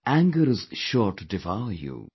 Anger is sure to devour you,